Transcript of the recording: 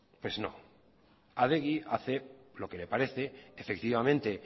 pues no adegi hace lo que le parece efectivamente